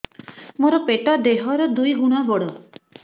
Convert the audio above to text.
ମୋର ପେଟ ଦେହ ର ଦୁଇ ଗୁଣ ବଡ